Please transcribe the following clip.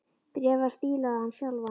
Bréfið var stílað á hann sjálfan.